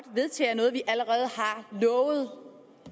vedtager noget vi allerede har lovet